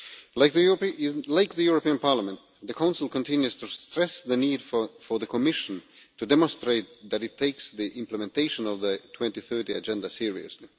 Like the European Parliament, the Council continues to stress the need for the Commission to demonstrate that it takes the implementation of the 2030 Agenda seriously.